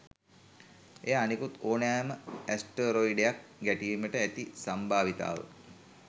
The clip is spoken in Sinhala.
එය අනෙකුත් ඕනෑම ඇස්ටරොයිඩයක් ගැටීමට ඇති සම්භාවිතාව